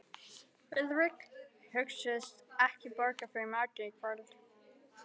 Friðrik hugðist ekki borga fyrir matinn í kvöld.